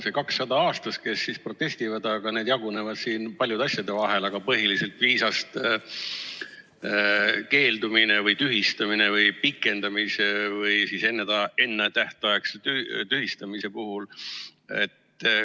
Need 200 aastas, kes protestivad, need jagunevad siin paljude asjade vahel: põhiliselt viisast keeldumine või selle tühistamine või pikendamine või siis ennetähtaegne tühistamine.